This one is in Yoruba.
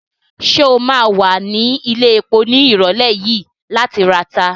Ṣé o ma wà ní ilẹ̀epo ní ìrọ̀lẹ́ yìí láti rata?